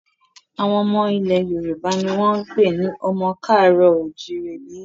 Àwọn ọmọ ilẹ̀ Yorùbá ni wọ́n ń pè ní ọmọ ká àárọ̀ o ò jíire bí